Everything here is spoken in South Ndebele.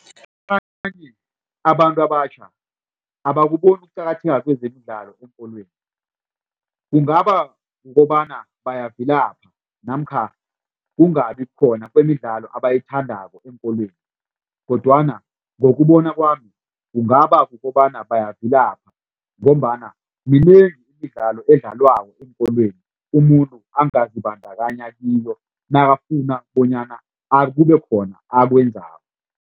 Abanye abantu abatjha abakuboni ukuqakatheka kwezemidlalo eenkolweni kungaba kukobana bayavilapha namkha kungabi khona kwemidlalo abayithandako eenkolweni kodwana ngokubona kwami kungaba kukobana bayavilapha ngombana minengi imidlalo edlalwako eenkolweni umuntu angazibandakanya kiyo nakafuna bonyana kube khona akwenzako.